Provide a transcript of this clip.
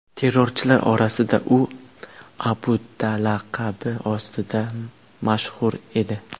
Terrorchilar orasida u Abu Da’ laqabi ostida mashhur edi.